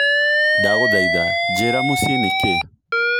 Ndagũthaitha njĩira mũciĩ nĩ kĩĩ